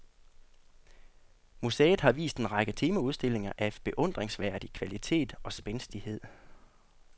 Museet har vist en række temaudstillinger af beundringsværdig kvalitet og spændstighed.